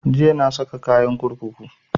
Jiya na saka kayan kurkuku